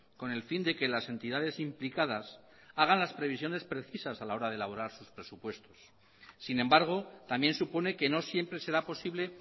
con el fin de que las entidades implicadas hagan las previsiones precisas a la hora de elaborar sus presupuestos sin embargo tambiénsupone que no siempre será posible